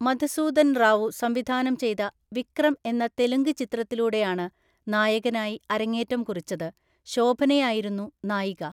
മധുസൂദൻ റാവു സംവിധാനം ചെയ്ത വിക്രം എന്ന തെലുങ്ക് ചിത്രത്തിലൂടെയാണ് നായകനായി അരങ്ങേറ്റം കുറിച്ചത്, ശോഭനയായിരുന്നു നായിക.